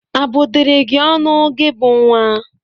A bụdịrị gị ọnụ gị bụ nwa?